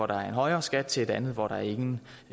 der er en højere skat til et land hvor der ingen